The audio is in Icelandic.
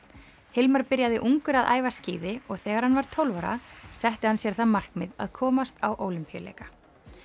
Hilmar byrjaði ungur að æfa skíði og þegar hann var tólf ára setti hann sér það markmið að komast á Ólympíuleika